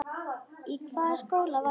Í hvaða skóla varstu?